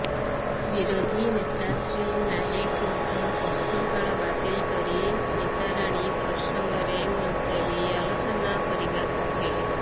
ବିରୋଧୀ ନେତା ଶ୍ରୀ ନାଏକ ମଧ୍ୟ ପ୍ରଶ୍ନକାଳ ବାତିଲ କରି ସ୍ମିତାରାଣୀ ପ୍ରସଙ୍ଗରେ ମୁଲତବି ଆଲୋଚନା କରିବାକୁ କହିଲେ